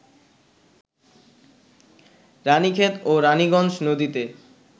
রাণীক্ষেত ও রাণীগঞ্জ নদীতে